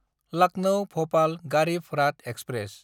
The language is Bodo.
लाकनौ–भपाल गारिब राथ एक्सप्रेस